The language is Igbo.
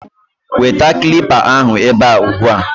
Weta kilipa ahụ ebe a ugbu a!